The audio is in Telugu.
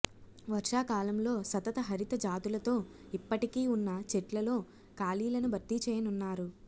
వర్షాకాలంలో సతత హరిత జాతులతో ఇప్పటికీ ఉన్న చెట్లల్లో ఖాళీలను భర్తీ చేయనున్నారు